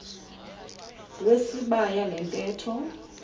wesibaya le ntetho